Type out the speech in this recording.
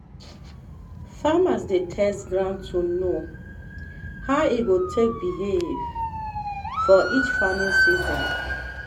farmers dey test ground to know how e go take behave for each farming season.